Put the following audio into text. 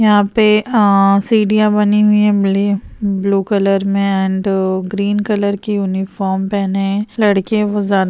यहाँ पे अ सीढ़ियाँ बनी हुई है ब्लू कलर में एंड ग्रीन कलर की यूनीफार्म पेहने है लड़के है बहुत ज्यादा --